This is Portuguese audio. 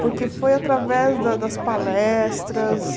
Porque foi através da das palestras.